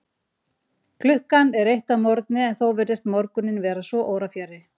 Klukkan er eitt að morgni, en þó virðist morguninn vera svo órafjarri.